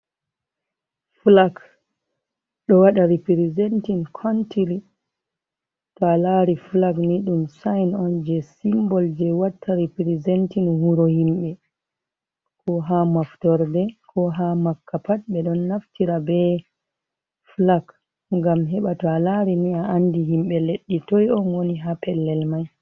Fulag ɗo waɗa ripirizentin kontiri. To a lari fulag ni ɗum sa'in on je simbol je watta riprizentin wuro himɓe. Ko ha maftorɗe ko ha makka pat be ɗon naftira be fulag. Ngam heɓa to a lari ni a anɗi himɓe leɗɗi toi on woni ha pellel mai.